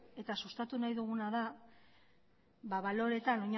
eta sustatu nahi duguna da baloreetan